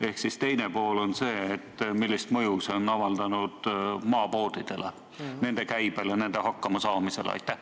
Ehk küsimuse teine pool: millist mõju on see avaldanud maapoodidele, nende käibele, nende hakkamasaamisele?